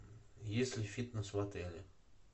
есть ли фитнес в отеле